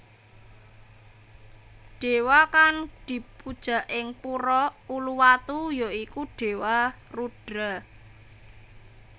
Dewa kang dipuja ing Pura Uluwatu ya iku Dewa Rudra